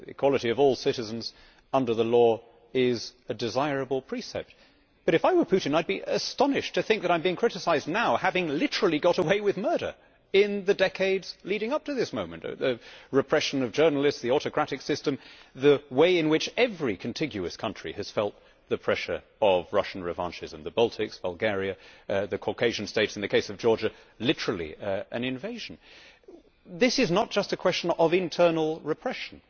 Equality of all citizens under the law is a desirable precept, but if I were Putin I would be astonished to think that I am being criticised now for having literally got away with murder in the decades leading up to this moment the repression of journalists, the autocratic system, the way in which every contiguous country has felt the pressure of Russian revanchism the Baltics, Bulgaria, the Caucasian States, in the case of Georgia literally an invasion. This is not a question of internal repression